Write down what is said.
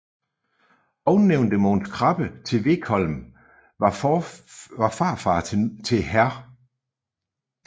Ovennævnte Mogens Krabbe til Vegholm var farfader til hr